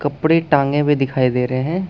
कपड़े टांगे हुए दिखाई दे रहे है।